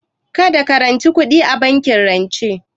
Kada ka ranci kuɗi a bankin rance